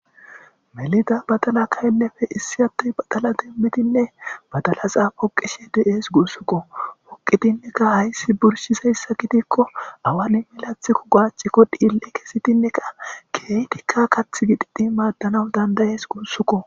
melida badala kayllefe issi hattey badala denbitinne badalaxaa phoqishe de7ees gussukko poqitinneka hayssi burshisayssa kitikko awani milathkko gaacikko dhiille kesitinneka keytikka kath gidhidhi maaddanaw dandayees gussukko